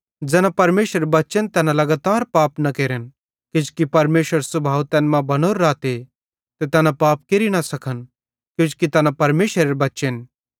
ज़ैना परमेशरेरे बच्चेन तैना लगातार पाप न केरन किजोकि परमेशरेरो सुभाव तैन मां बनोरू रहते ते तैना पाप केरि न सकन किजोकि तैना परमेशरेरे बच्चेन